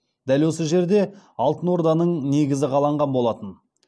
дәл осы жерде алтынорданың негізі қаланған болатын